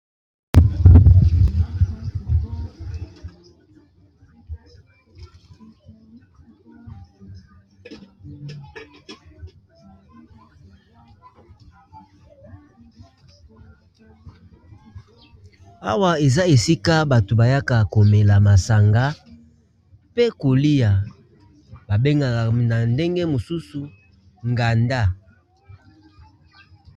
Awa eza esika bato bayaka komela masanga pe kolia ba bengaka na ndenge mosusu nganda.